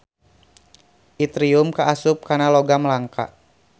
Itrium kaasup kana logam langka.